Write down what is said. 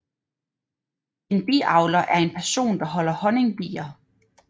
En biavler er en person der holder honningbier